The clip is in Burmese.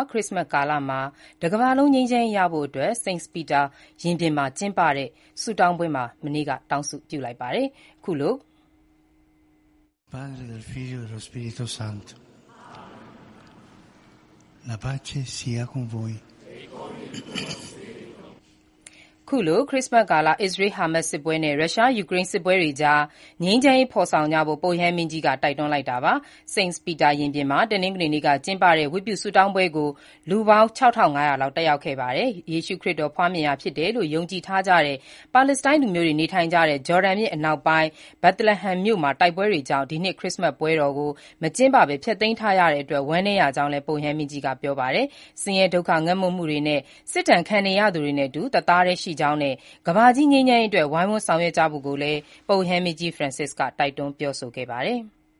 ခရစ္စမတ်ကာလ တကမ္ဘာလုံး ငြိမ်းချမ်းရေးရဖို့အတွက် စိန့်ပီတာ ရင်ပြင်မှာ တနင်္ဂနွေနေ့က ကျင်းပတဲ့ ဝတ်ပြုဆုတောင်းပွဲမှာ ပုပ်ရဟန်းမင်းကြီး ဖရန်စစ်က တောင်းဆုပြုလိုက်ပါတယ်။ ခရစ္စမတ်ကာလ အစ္စရေး-ဟာမတ်စ် စစ်ပွဲနဲ့ ရုရှား- ယူကရိန်းစစ်ပွဲတွေကြား ငြိမ်းချမ်းရေးဖော်ဆောင်ကြဖို့ ပုပ်ရဟန်းမင်းကြီးက တိုက်တွန်းတာပါ။ စိန့်ပီတာ ရင်ပြင်မှာ တနင်္ဂနွေနေ့က ကျင်းပတဲ့ ဝတ်ပြုဆုတောင်းပွဲကို လူ ၆၅၀၀ လောက်တက်ရောက်ခဲ့ပါတယ်။ ယေရှုခရစ်တော်ဖွားမြင်ရာဖြစ်တယ်လို့ ယုံကြည်ထားကြတဲ့ ပါလက်စတိုင်းလူမျိုးတွေနေထိုင်ကြတဲ့ ဂျော်ဒန်မြစ်အနောက်ပိုင်းက Bethlehem မြို့မှာ တိုက်ပွဲတွေကြောင့် ဒီနှစ် ခရစ်စ္စမတ်ပွဲတော် တွေကိုမကျင်းပဘဲ ဖျက်သိမ်းထားရတဲ့အတွက် ဝမ်းနည်းရကြောင်းလည်း ပုပ်ရဟန်းမင်းကြီးကပြောဆိုပါတယ်။ ဆင်းရဲဒုက္ခ၊ ငတ်မွတ်မှုနဲ့ စစ်ဒဏ်ခံနေရသူတွေနဲ့ အတူ တသာားတည်းရှိကြောင်းနဲ့ ကမ္ဘာကြီး ငြိမ်းချမ်းရေးအတွက် ဝိုင်းဝန်းဆောင်ရွက်ကြဖို့လည်း ပုပ်ရဟန်းမင်းကြီး ဖရန်စစ်က တိုက်တွန်းပြောဆိုခဲ့ပါတယ်။